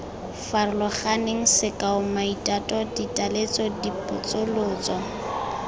farologaneng sekao maitato ditaletso dipotsolotso